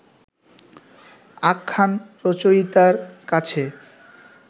আখ্যান রচয়িতার কাছে